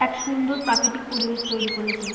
এক সুন্দর প্রাকৃতিক পরিবেশ তৈরি করেছে ।